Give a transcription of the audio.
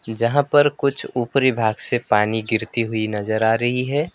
जहां पर कुछ ऊपरी भाग से पानी गिरती हुई नजर आ रही है।